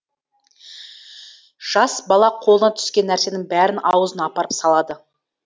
жас бала қолына түскен нәрсенің бәрін аузына апарып салады